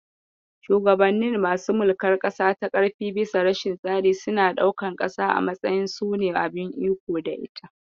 Shugabannin masu mulkar ƙasa ta ƙarfi bisa rashin tsari suna ɗaukan ƙasa a matsayin su ne abin iko da ita.